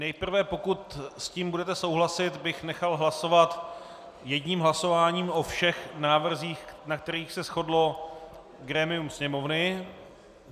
Nejprve, pokud s tím budete souhlasit, bych nechal hlasovat jedním hlasováním o všech návrzích, na kterých se shodlo grémium Sněmovny.